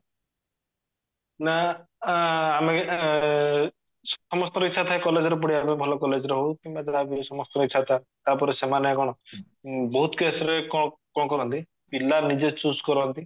ନା ଆମେ ସମସ୍ତଙ୍କର ଇଛା ଥାଏ college ରେ ପଢିବା ପାଇଁ ଭଲ college ରେ ହଉ କିମ୍ବା ଯାହାବି ସମସ୍ତଙ୍କର ଇଛା ଥାଏ ତାପରେ ସେମାନେ କଣ ବହୁତ case ରେ କଣ କରନ୍ତି ପିଲା ନିଜେ choose କରନ୍ତି